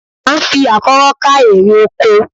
À ń fi àkọ́rọ́ ká eré oko